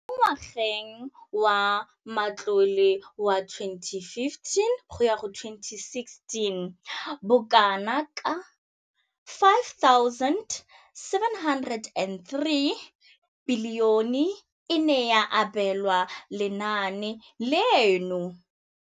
Mo ngwageng wa matlole wa 2015,16, bokanaka R5 703 bilione e ne ya abelwa lenaane leno.